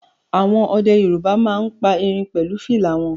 Àwọn ọdẹ Yorùbá máa ń pa erin pẹ̀lú fìlà wọn